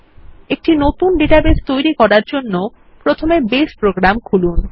একটি নতুন ডাটাবেস তৈরি করার জন্যে প্রথমে বেস প্রোগ্রাম খুলুন